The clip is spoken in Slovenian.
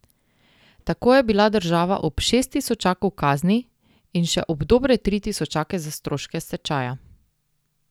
Tako je bila država ob šest tisočakov kazni in še ob dobre tri tisočake za stroške stečaja.